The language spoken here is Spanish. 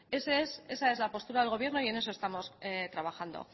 esa es la postura del gobierno y en eso estamos trabajando